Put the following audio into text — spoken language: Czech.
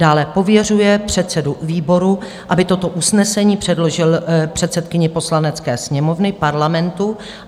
dále "pověřuje předsedu výboru, aby toto usnesení předložil předsedkyni Poslanecké sněmovny Parlamentu;